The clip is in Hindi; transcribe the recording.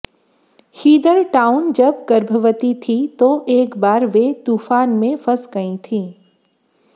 हीदर टाउन जब गर्भवती थी तो एक बार वे तूफान में फंस गयी थी